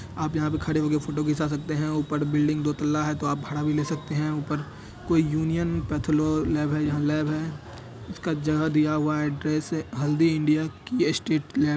आप यहाँ पे खड़े होके फोटो खिचा सकते हैं ऊपर बिल्डिंग दो तल्ला हैं तो आप भाड़ा भी ले सकते हैं उपर कोई यूनियन पैथो लैब हैं यहाँ लैब हैं इसका जगह दिया हुआ हैं एड्रेस है हेल्दी इंडिया की ट्रस्टेड लैब--